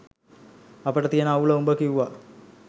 අපිට තියන අවුල උඹ කිව්වා